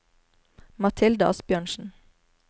Mathilde Asbjørnsen